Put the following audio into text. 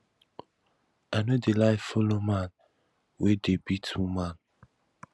i no dey like follow man wey dey beat woman